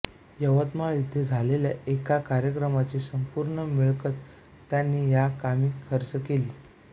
यवतमाळ येथे झालेल्या एका कार्यक्रमाची संपूर्ण मिळकत त्यांनी या कामी खर्च केली